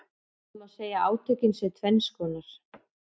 Það má segja að átökin séu tvenns konar.